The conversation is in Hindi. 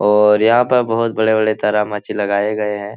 और यहाँ पे बहुत बड़े-बड़े तारामाछी लगाए गए हैं।